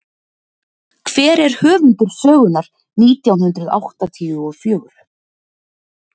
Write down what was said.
Hver er höfundur sögunnar nítján hundruð áttatíu og fjögur?